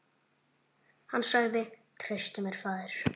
Hann sagði: Treystu mér, faðir.